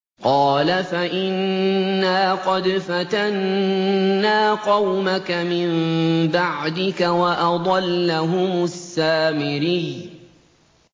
قَالَ فَإِنَّا قَدْ فَتَنَّا قَوْمَكَ مِن بَعْدِكَ وَأَضَلَّهُمُ السَّامِرِيُّ